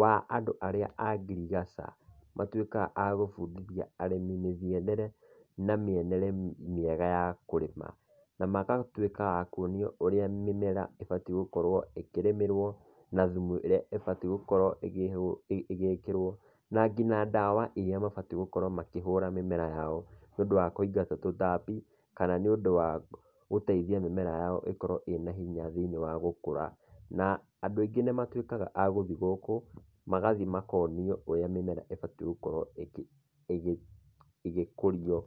wa andũ arĩa a ngirigaca, matuĩkaga a gũbundithia arĩmi mĩgiendere na mĩenere mĩega ya kũrĩma, na magatuĩka akuonio ũrĩa mĩmera ĩbatiĩ gũkorwo ĩkĩrĩmĩrwo, na thumu ĩrĩa ĩbatiĩ gũkorwo ĩgĩkĩrwo na ngina ndawa iria mabatiĩ gũkorwo makĩhũra mĩmera yao nĩ ũndũ wa kũingata tũtambi kana nĩ ũndũ wa gũteithia mĩmera yao ĩkorwo ĩna hinya thĩinĩ wa gũkũra. Na andũ aingĩ nĩmatuĩkaga agũthiĩ gũkũ, magathiĩ makonio ũrĩa mĩmera ĩbatiĩ gũkorwo ĩgĩkũrio.